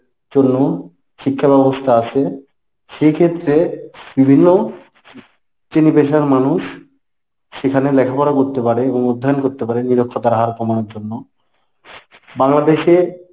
জন্য শিক্ষাব্যবস্থা আছে। সেক্ষেত্রে বিভিন্ন চেনি পেশার মানুষ সেখানে লেখাপড়া করতে পারে এবং অধ্যয়ন করতে পারে নিরক্ষতার হার কমানোর জন্য। বাংলাদেশে